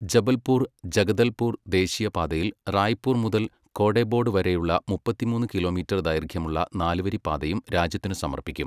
ജബൽപൂർ ജഗദൽപൂർ ദേശീയ പാതയിൽ റായ്പൂർ മുതൽ കോഡെബോഡ് വരെയുള്ള മുപ്പത്തിമൂന്ന് കിലോമീറ്റർ ദൈർഘ്യമുള്ള നാല് വരി പാതയും രാജ്യത്തിന് സമർപ്പിക്കും.